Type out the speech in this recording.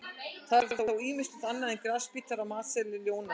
Það er þó ýmislegt annað en grasbítar á matseðli ljóna.